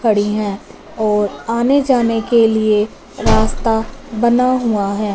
खड़ी हैं और आने जाने के लिए रास्ता बना हुआ है।